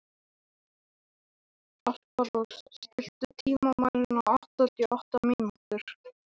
Alparós, stilltu tímamælinn á áttatíu og átta mínútur.